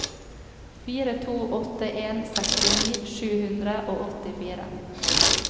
fire to åtte en sekstini sju hundre og åttifire